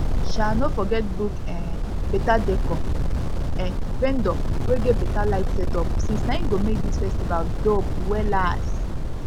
um no forget book um beta decor um vendor wey get beta light setup since na em go make dis festival dope wellas